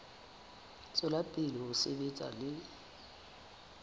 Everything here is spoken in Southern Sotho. tswela pele ho sebetsa le